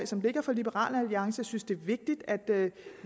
som ligger fra liberal alliance jeg synes det er vigtigt at